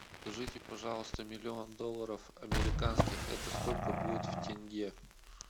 скажите пожалуйста миллион долларов американских это сколько будет в тенге